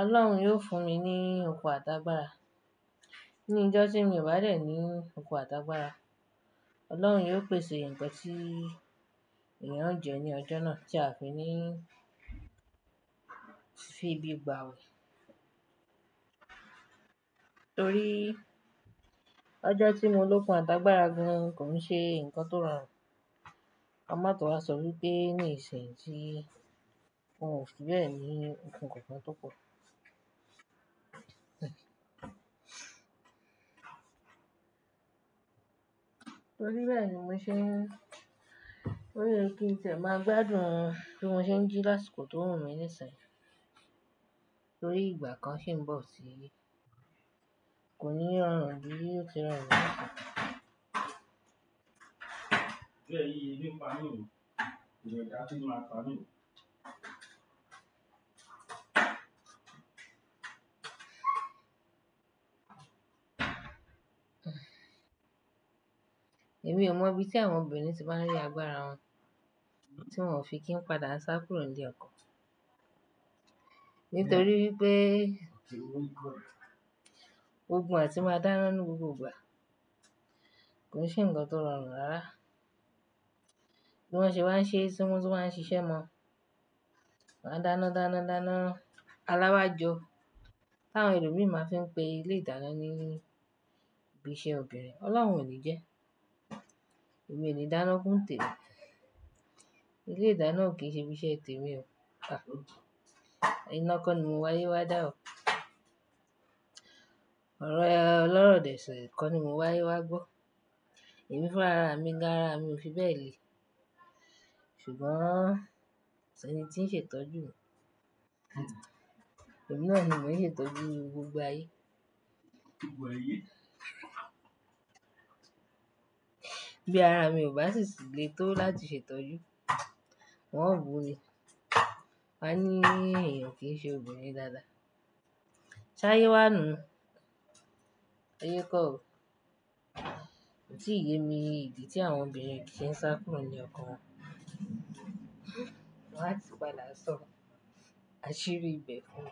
Ọlọ́run yóò fún mi ní okun àtàgbàrà. Ní ọjọ́ tí mo bá dẹ̀ ní okun àtàgbàrà, Ọlọ́run yóò pèsè ǹkan tí èèyàn ó jẹ ní ọjọ́ náà tí a fi ní fi bí i gbà wẹ̀. Torí ọjọ́ tí mo lókun àtàgbàrà gan kò ń ṣe nǹkan tó rọrùn. Ka má tó wá sọ wípé ní ìsìn tí un ò fi bẹ́ẹ̀ ní okun kankan tó pọ̀. Torí bẹ́ẹ̀ ni mo ṣe, torí kí n tiẹ̀ máa gbádùn bí mo ṣe ń jí lásìkò tó wù mí ní ìsìn. Torí ìgbà kan ṣi ń bọ̀ tí, kò ní rọrùn bí ó ti rọrùn lásìkọ̀. Bẹ́ẹ̀ ni, yóò pa nù o. Èmi ò mọ ibi tí àwọn obìnrin ti máa ń rí agbára wọn tí wọn ò fi kí padà sá kúrò níle ọkọ. Nítorí wípé- Ó ti wù mí gbọ́ rẹ̀. Ogun àti máa dáná ní gbogbo ìgbà. Kòn se ǹkan tó rọrùn rárá. Bí wọ́n ṣe wá ń ṣe, tí wọ́n tun wá ń ṣiṣẹ́ mọ́. Wọ́n á dáná dáná dáná alábájọ. Táwọn ẹlòmíràn máa fi ń pe ilé ìdáná ní ibi iṣẹ́ obìnrin. Ọlọ́run ò ní jẹ́. Emi o le dáná ku ń tèmi. Ilé ìdáná ò kí ń ṣe ibi iṣẹ́ tèmi o. Iná ko ni mo wáyé wá dà o. Ọro oloro dẹ̀ ṣii, ko ni mo wáyé wá gbọ́. Èmi fún ara mi gan, ara mi ò fi bẹ́ẹ̀ le. Ṣùgbọ́n kọ s'ẹni tí ń ṣe ìtọ́jú mi. Emií náà ni mò ń ṣe ìtọ́jú gbogbo ayé. Gbogbo ayé. Bí ara mi ò bá sì lè tó láti ṣe ìtọ́jú, wọ́n ó bumi. Wọ́n á ní èèyàn kì í ṣe obìnrin dáadáa. Ṣayé wà nu? Ayé kọ o Kò tí ìyè mi idi tí àwọn obìnrin kì í ṣe ń sá kúrò níle ọkọ wọn. Wọn á ti padà sọ, asìrí ibẹ̀ fúnmi.